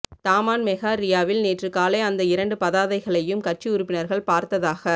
Taman Megah ரியாவில் நேற்று காலை அந்த இரண்டு பதாதைகளையும் கட்சி உறுப்பினர்கள் பார்த்ததாக